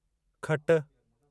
खट